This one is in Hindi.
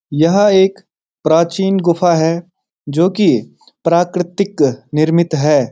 यह एक प्राचीन गुफा है जो की प्राकृतिक निर्मित है।